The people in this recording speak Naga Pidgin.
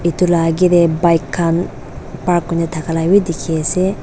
itu la agey teh bike khan park nuristan dikhi ase.